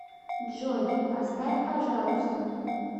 джой поставь пожалуйста